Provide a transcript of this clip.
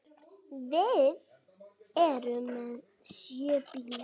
Við erum með sjö bíla.